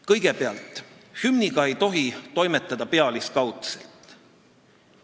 Kõigepealt, hümniga ei tohi toimetada pealiskaudselt.